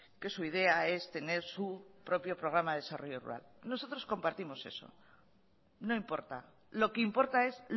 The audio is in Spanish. que su idea es tener su propio programa del desarrollo rural nosotros compartimos eso no importa lo que importa es